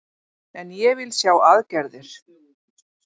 En ég vil sjá aðgerðir